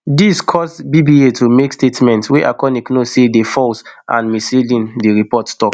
dis cause bba to make statements wey arconic know say dey false and misleading di report tok